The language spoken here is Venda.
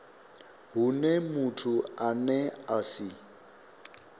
hune muthu ane a si